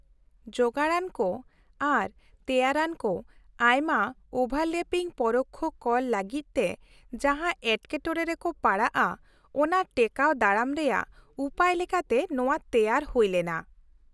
-ᱡᱳᱜᱟᱲᱟᱱᱠᱚ ᱟᱨ ᱛᱮᱭᱟᱨᱟᱱᱠᱚ ᱟᱭᱢᱟ ᱳᱵᱷᱟᱨᱞᱮᱯᱤᱝ ᱯᱚᱨᱳᱠᱠᱷᱚ ᱠᱚᱨ ᱞᱟᱹᱜᱤᱫᱛᱮ ᱡᱟᱦᱟᱸ ᱮᱴᱠᱮᱴᱚᱲᱮ ᱨᱮᱠᱚ ᱯᱟᱲᱟᱜᱼᱟ ᱚᱱᱟ ᱴᱮᱠᱟᱹᱣ ᱫᱟᱨᱟᱢ ᱨᱮᱭᱟᱜ ᱩᱯᱟᱹᱭ ᱞᱮᱠᱟᱛᱮ ᱱᱚᱶᱟ ᱛᱮᱭᱟᱨ ᱦᱩᱭᱞᱮᱱᱟ ᱾